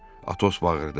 Atos bağırdı.